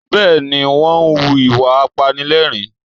Bẹ́ẹ̀ ni, wọ́n ń hu ìwà apanilẹ́rìn-ín